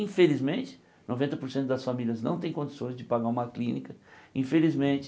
Infelizmente noventa por cento das famílias não tem condições de pagar uma clínica, infelizmente